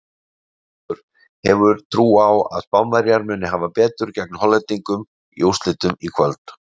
Ólafur hefur trú á að Spánverjar muni hafa betur gegn Hollendingum í úrslitunum í kvöld.